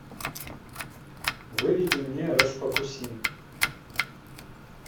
выведи мне расфокусин